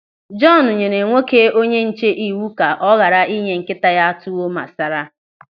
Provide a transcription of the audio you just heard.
Jọọnu nyere nwoke onyenche iwu ka ọ ghara inye nkịta ya tuwo masara.